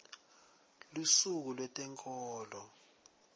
lusuku lwetenkholo